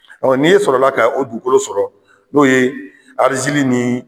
n'i ye sɔrɔ la ka o dugukolo sɔrɔ n'o ye arizili nin